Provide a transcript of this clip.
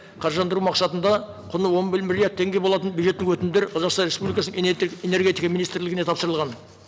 қаржыландыру мақсатында құны он бір миллиард теңге болатын бюджеттік өтімдер қазақстан республикасының энергетика министрлігіне тапсырылған